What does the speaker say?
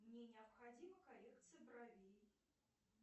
мне необходима коррекция бровей